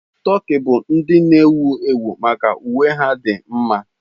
Tokii bụ ndi na ewu ewu maka uwe ha dị mma.